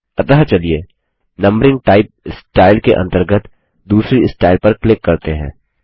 अतः चलिए numbering type style के अंतर्गत दूसरी स्टाइल पर क्लिक करते हैं